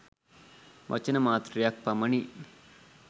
වචන මාත්‍රයක් පමණි.